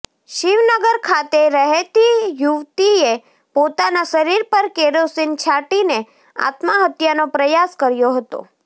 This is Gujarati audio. શિવનગર ખાતે રહેતી યુવતીએ પોતાના શરીર પર કેરોસીન છાંટીને આત્મહત્યાનો પ્રયાસ કર્યો હતો